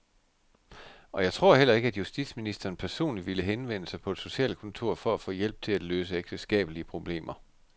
Og jeg tror heller ikke, at justitsministeren personligt ville henvende sig på et socialkontor for at få hjælp til at løse ægteskabelige problemer.